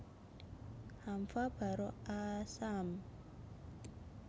Haamva baro aasaam